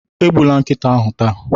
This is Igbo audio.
Egbula nkịta ahụ taa